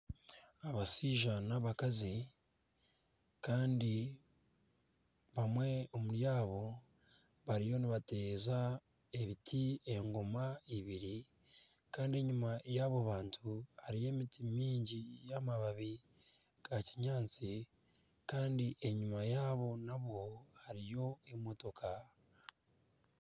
Abashaija nana abakazi kandi omwe omuri abo bariyo nibateeza ebiti engoma ibiri kandi enyuma yaabo bantu hariyo emiti mingi y'amababi ga kinyaatsi kandi enyuma yaabo nabo hariyo emotoka